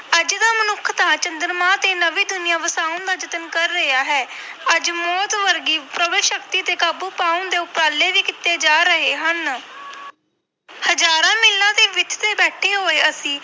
ਅੱਜ ਦਾ ਮਨੁੱਖ ਤਾਂ ਚੰਦਰਮਾ ਤੇ ਨਵੀਂ ਦੁਨੀਆਂ ਵਸਾਉਣ ਦਾ ਯਤਨ ਕਰ ਰਿਹਾ ਹੈ ਅੱਜ ਮੌਤ ਵਰਗੀ ਸ਼ਕਤੀ ਤੇ ਕਾਬੂ ਪਾਉਣ ਦੇ ਉਪਰਾਲੇ ਵੀ ਕੀਤੇ ਜਾ ਰਹੇ ਹਨ ਹਜ਼ਾਰਾਂ ਮੀਲਾਂ ਦੀ ਵਿੱਥ ਤੇ ਬੈਠੇ ਹੋਏ ਅਸੀਂ